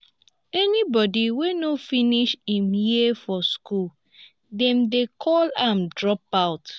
anybody wey no finish im years for school dem de call am dropout